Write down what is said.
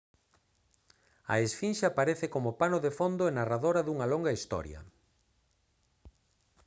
a esfinxe aparece como pano de fondo e narradora dunha longa historia